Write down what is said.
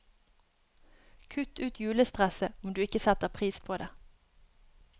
Kutt ut julestresset, om du ikke setter pris på det.